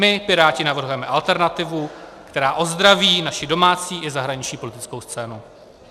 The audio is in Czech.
My Piráti navrhujeme alternativu, která ozdraví naši domácí i zahraniční politickou scénu.